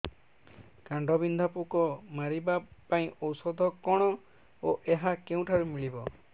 କାଣ୍ଡବିନ୍ଧା ପୋକ ମାରିବା ପାଇଁ ଔଷଧ କଣ ଓ ଏହା କେଉଁଠାରୁ ମିଳିବ